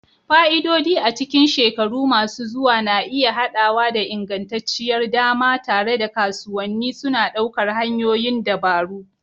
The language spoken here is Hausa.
Fa'idodi a cikin shekaru masu zuwa na iya haɗawa da ingantacciyar dama, tare da kasuwanni suna ɗaukar hanyoyin dabaru.